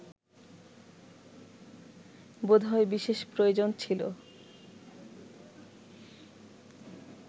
বোধ হয় বিশেষ প্রয়োজন ছিল